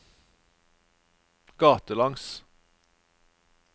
gatelangs